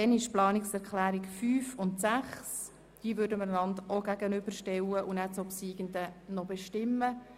Danach werden wir die Planungserklärungen 5 und 6 einander gegenübergestellt zur Abstimmung bringen und die obsiegende Planungserklärung bestimmen.